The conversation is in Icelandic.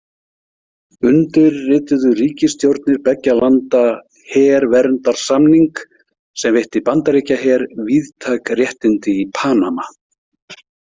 Undirrituðu ríkisstjórnir beggja landa „herverndarsamning“ sem veitti Bandaríkjaher víðtæk réttindi í Panama.